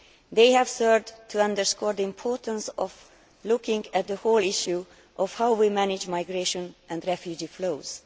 They have served to underscore the importance of looking at the whole issue of how we manage migration and refugee flows.